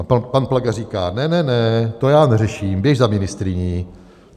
A pan Plaga říká: Ne, ne, ne, to já neřeším, běž za ministryní.